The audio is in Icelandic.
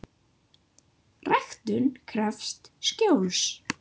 Ræktun krefst skjóls.